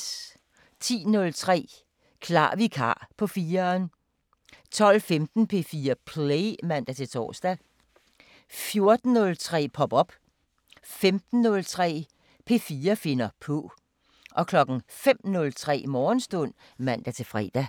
10:03: Klar vikar på 4'eren 12:15: P4 Play (man-tor) 14:03: Pop op 15:03: P4 finder på 05:03: Morgenstund (man-fre)